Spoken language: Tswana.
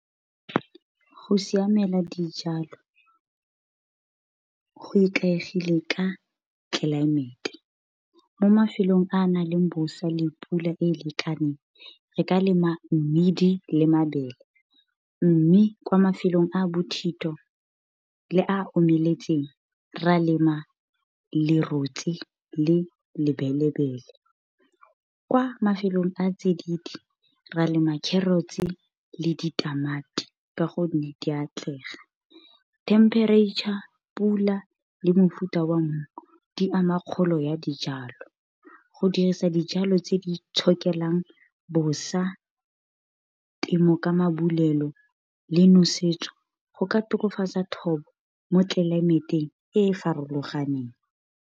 Go siamela dijalo go ikaegile ka tlelaemete, mo mafelong a na leng le bosa le pula e lekaneng, re ka lema mmidi le mabele. Mme kwa mafelong a a bothito le a omeletseng, ra lema lerotse le lebelebele. Kwa mafelong a a tsididi ra lema carrots-e le ditamati, ka gonne di atlega. Temperature, pula, le mofuta wa mmu, di ama kgolo ya dijalo. Go dirisa dijalo tse di itshokelang bosa, temo, ka le nosetso, go ka tokafatsa thobo mo tlelaemeteng e e farologaneng.